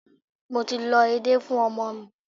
Mo ti lọ edé fún ọmọ mi.